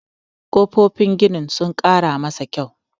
kofofin ginin sun Kara masa kyau